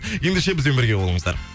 ендеше бізбен бірге болыңыздар